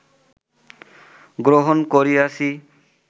গ্রহণ করিয়াছি